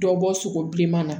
Dɔ bɔ sogo bilenman na